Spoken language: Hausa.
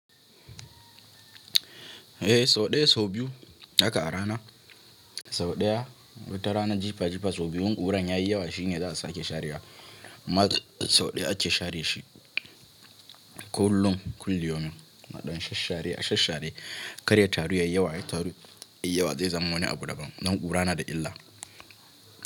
Eh sau ɗaya, sau biyu haka a rana. Sau ɗaya wata rana jifa jifa sau biyu. In ƙura yayi yawa shine za su ake sharewa. Amma sau ɗaya ake share shi kullum, kulli yaumin na ɗan shash share, a shash share. Karya taru yayi yawa, ai taru yayi yawa zai zama wani abu daban. Don ƙura na da illa.